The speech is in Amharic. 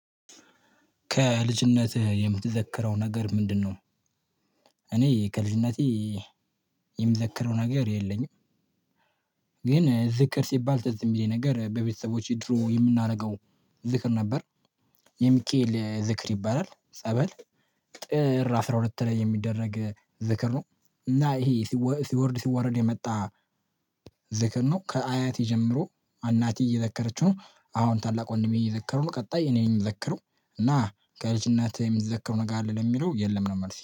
ከልጅነትህ የምትዘከረው ነገር ምንድነው? እኔ ከልጅነቴ የምዘከረው ነገር የለኝም። ግን ዝክር ሲባል ትዝ የሚለኝ ነገር በቤተሰቦቼ ድሮ የምናደርገው ዝክር ነበር። የሚካኤል ዝክር ይባላል ጸበል ጥር አስራ ሁለት ላይ የሚደረግ ዝክር ነው። እና ይሄ ሲወርድ ሲወረድ የመጣ ዝክር ነው ከአያት ጀምሮ አናቴ እየዘከረችው ነው አሁን ታላቅ ወንድሜ እየዘከረው ነው። ቀጣይ እኔን የምዘክረው እና ከልጅነትህ የምትዘክረው ነገር አለ ለሚለው የለም ነው መልሴ